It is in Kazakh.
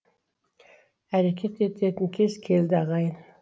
әрекет ететін кез келді ағайын